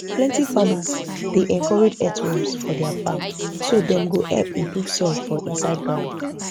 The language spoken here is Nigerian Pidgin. plenty farmers dey encourage earthworms for their farm so dem go help improve soil for inside ground